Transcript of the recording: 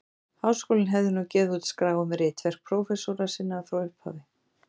Háskólinn hefði nú gefið út skrá um ritverk prófessora sinna frá upphafi.